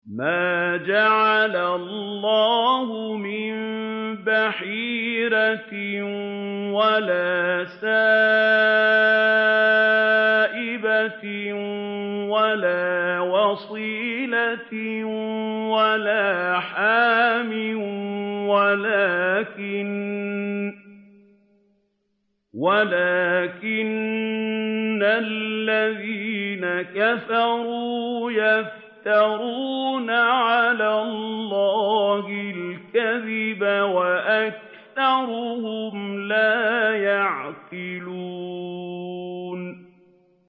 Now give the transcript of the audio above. مَا جَعَلَ اللَّهُ مِن بَحِيرَةٍ وَلَا سَائِبَةٍ وَلَا وَصِيلَةٍ وَلَا حَامٍ ۙ وَلَٰكِنَّ الَّذِينَ كَفَرُوا يَفْتَرُونَ عَلَى اللَّهِ الْكَذِبَ ۖ وَأَكْثَرُهُمْ لَا يَعْقِلُونَ